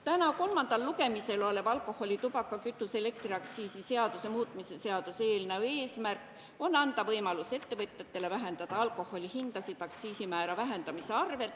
Täna kolmandal lugemisel oleva alkoholi-, tubaka-, kütuse- ja elektriaktsiisi seaduse muutmise seaduse eelnõu eesmärk on anda ettevõtjatele võimalus alandada alkoholi hindasid aktsiisimäära vähendamise võrra,